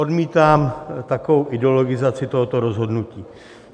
Odmítám takovou ideologizaci tohoto rozhodnutí.